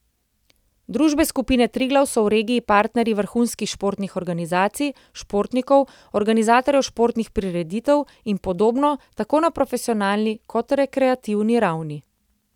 Družbe skupine Triglav so v regiji partnerji vrhunskih športnih organizacij, športnikov, organizatorjev športnih prireditev in podobno, tako na profesionalni kot rekreativni ravni.